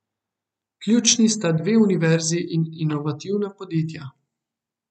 Vključeni sta dve univerzi in inovativna podjetja.